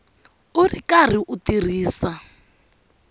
u ri karhi u tirhisa